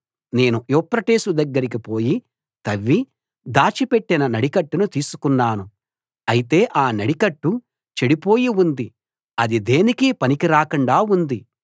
నేను యూఫ్రటీసు దగ్గరికి పోయి తవ్వి దాచిపెట్టిన నడికట్టును తీసుకున్నాను అయితే ఆ నడికట్టు చెడిపోయి ఉంది అది దేనికీ పనికిరాకుండా ఉంది